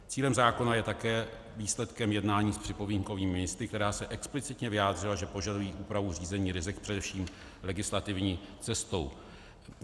Cíl zákona je také výsledkem jednání s připomínkovými místy, která se explicitně vyjádřila, že požadují úpravu řízení rizik především legislativní cestou.